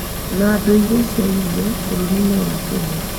na ndũire cia irio bũrũri wa Kenya.